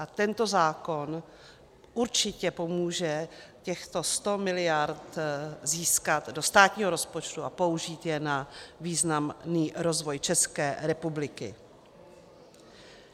A tento zákon určitě pomůže těchto 100 mld. získat do státního rozpočtu a použít je na významný rozvoj České republiky.